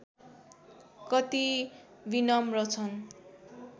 कति विनम्र छन्